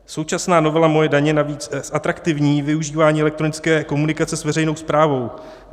Současná novela MOJE daně navíc zatraktivní využívání elektronické komunikace s veřejnou správou.